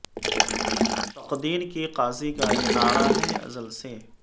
تقدیر کے قاضی کا یہ نعرہ ہے ازل سے